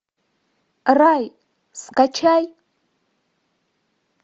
рай скачай